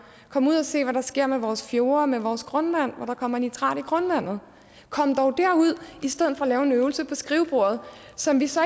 kom ud og se hvad der sker med vores fjorde med vores grundvand når der kommer nitrat i grundvandet kom dog derud i stedet for at lave en øvelse på skrivebordet som vi så